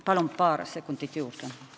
Palun paar sekundit juurde!